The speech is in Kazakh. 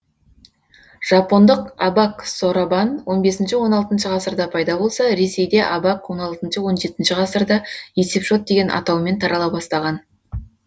жапондық абак соробан он бесінші он алтыншы ғасырда пайда болса ресейде абак он алтыншы он жетінші ғасырда есепшот деген атаумен тарала бастаған